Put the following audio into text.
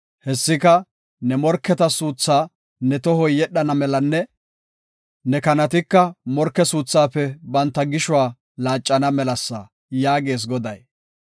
Hessika, ne morketa suutha ne tohoy yedhana melanne ne kanatika morke suuthaafe banta gishuwa laaccana melasa” yaagees Goday.